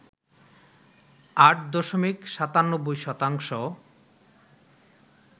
৮ দশমিক ৯৭ শতাংশ